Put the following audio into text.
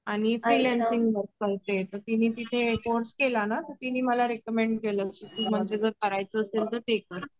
आणि फ्रिलांसींग करते तर तिने तिथे कोर्स केला ना तिने मला रेकमेंड केलं, म्हणजे करायचं असेल तर ते कर